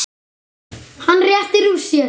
Hann réttir úr sér.